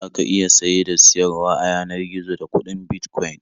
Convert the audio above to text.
Za ka iya saye da siyarwa a yanar gizo da kuɗin Bitcoin.